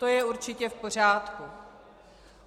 To je určitě v pořádku.